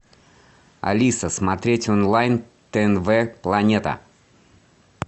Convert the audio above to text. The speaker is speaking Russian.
алиса смотреть онлайн тнв планета